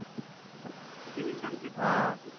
त्याचे विचारतील हा